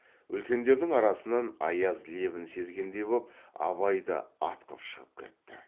үлкендердің арасынан аяз лебін сезгендей боп абай да атқып шығып кетті